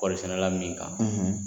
Kɔri sɛnɛ la min kan